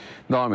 Davam edirəm.